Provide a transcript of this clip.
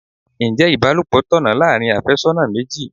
Ǹjẹ́ ibalopo tọ̀nà láàárín afésónà méjì?